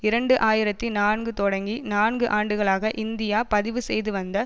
இரண்டு ஆயிரத்தி நான்கு தொடங்கி நான்கு ஆண்டுகளாக இந்தியா பதிவு செய்து வந்த